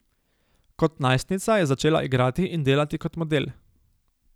Kot najstnica je začela igrati in delati kot model.